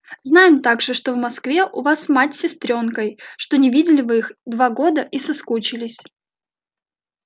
знаем также что в москве у вас мать с сестрёнкой что не видели вы их два года и соскучились